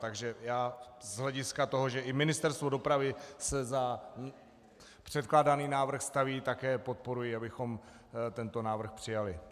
Takže já z hlediska toho, že i Ministerstvo dopravy se za předkládaný návrh staví, také podporuji, abychom tento návrh přijali.